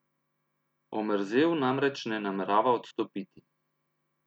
Omerzel namreč ne namerava odstopiti.